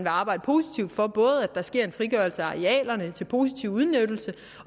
arbejde positivt for at der sker en frigørelse af arealerne til positiv udnyttelse